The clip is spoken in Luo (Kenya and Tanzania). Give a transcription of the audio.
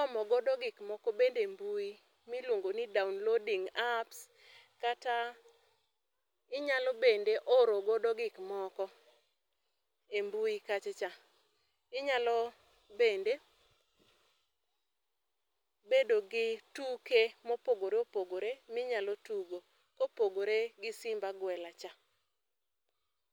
omo godo gikmoko bende e mbui miluongo ni downloading apps kata inyalo bende orogodo gikmoko e mbui kachacha, inyalo bende bedo gi tuke mopogore opogore minyalo tugo kopogore gi simb aguela cha.